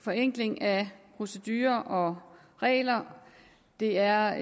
forenkling af procedurer og regler det er